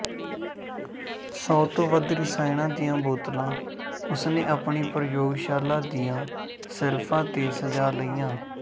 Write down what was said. ਸੌ ਤੋਂ ਵੱਧ ਰਸਾਇਣਾਂ ਦੀਆਂ ਬੋਤਲਾਂ ਉਸ ਨੇ ਆਪਣੀ ਪ੍ਰਯੋਗਸ਼ਾਲਾ ਦੀਆਂ ਸੈਲਫਾਂ ਤੇ ਸਜਾ ਲਈਆਂ